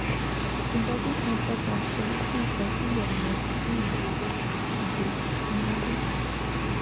zimbabwe central bank sọ wípé ìdásílẹ àwọn ìwé ìléwọ ìdè ti súnmọlé